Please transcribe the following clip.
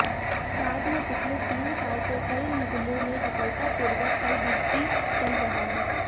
राज्य में पिछले तीन साल से कई निगमों में सफलतापूर्वक एलबीटी चल रहा है